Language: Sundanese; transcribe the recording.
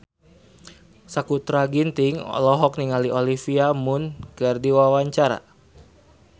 Sakutra Ginting olohok ningali Olivia Munn keur diwawancara